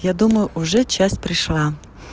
я думаю уже часть пришла